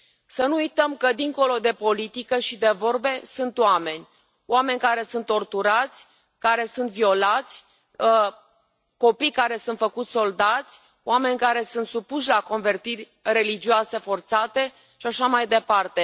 Să nu uităm că, dincolo de politică și de vorbe, sunt oameni oameni care sunt torturați, care sunt violați, copii care sunt făcuți soldați, oameni care sunt supuși la convertiri religioase forțate și așa mai departe.